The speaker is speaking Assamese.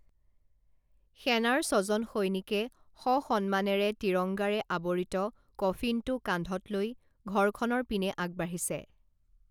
সেনাৰ ছজন সৈনিকে সসন্মানেৰে তিৰংগাৰে আৱৰিত কফিনটো কান্ধত লৈ ঘৰখনৰ পিনে আগবাঢ়িছে